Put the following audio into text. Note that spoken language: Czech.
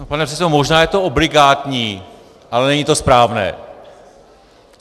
Pane předsedo, možná je to obligátní, ale není to správné.